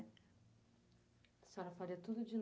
A senhora faria tudo de